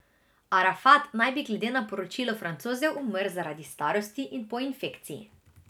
Arafat naj bi glede na poročilo Francozov umrl zaradi starosti in po infekciji.